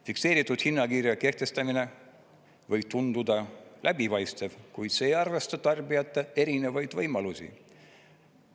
Fikseeritud hinnakirja kehtestamine võib tunduda läbipaistev, kuid see ei arvesta tarbijate erinevaid võimalusi.